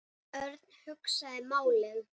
Örn hugsaði málið.